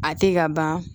A tɛ ka ban